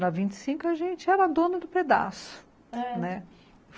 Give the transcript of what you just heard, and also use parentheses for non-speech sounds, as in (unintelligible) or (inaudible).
Na vinte e cinco, a gente era a dona do pedaço, né (unintelligible)